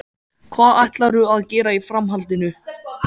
Hvað ætlarðu að gera í framhaldinu?